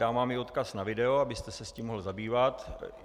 Dám vám i odkaz na video, abyste se s tím mohl zabývat.